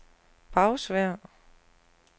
Bagsværd